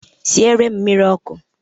Siere m mmiri ọkụ!